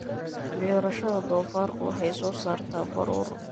Beerashada doofaarku waxay soo saartaa baruur